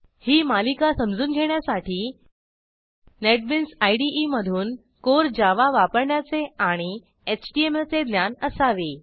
ही मालिका समजून घेण्यासाठी नेटबीन्स इदे मधून कोर जावा वापरण्याचे आणि एचटीएमएल चे ज्ञान असावे